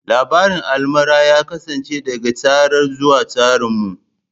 Labarin almara ya kasance daga tsara zuwa tsaranmu.